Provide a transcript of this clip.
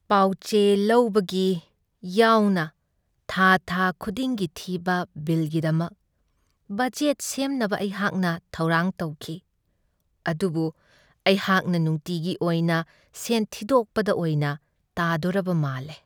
ꯄꯥꯎꯆꯦ ꯂꯧꯕꯒꯤ ꯌꯥꯎꯅ ꯊꯥ ꯊꯥ ꯈꯨꯗꯤꯡꯒꯤ ꯊꯤꯕ ꯕꯤꯜꯒꯤꯗꯃꯛ ꯕꯖꯦꯠ ꯁꯦꯝꯅꯕ ꯑꯩꯍꯥꯛꯅ ꯊꯧꯔꯥꯡ ꯇꯧꯈꯤ, ꯑꯗꯨꯕꯨ ꯑꯩꯍꯥꯛꯅ ꯅꯨꯡꯇꯤꯒꯤ ꯑꯣꯏꯅ ꯁꯦꯟ ꯊꯤꯗꯣꯛꯄꯗ ꯑꯣꯏꯅ ꯇꯥꯗꯣꯔꯕ ꯃꯥꯜꯂꯦ ꯫